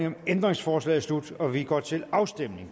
om ændringsforslaget slut og vi går til afstemning